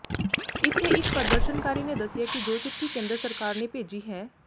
ਇੱਥੇ ਇਕ ਪ੍ਰਦਰਸ਼ਨਕਾਰੀ ਨੇ ਦੱਸਿਆ ਕਿ ਜੋ ਚਿੱਠੀ ਕੇਂਦਰ ਸਰਕਾਰ ਨੇ ਭੇਜੀ ਹੈ